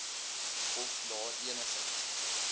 of daar enige